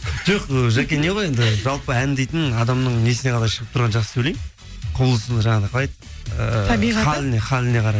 жоқ ы жаке не ғой енді жалпы ән дейтін адамның несіне ғана шығып тұрған жақсы деп ойлаймын жаңағыдай қалай еді халіне қарай